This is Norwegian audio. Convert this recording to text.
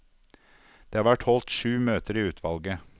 Det har vært holdt sju møter i utvalget.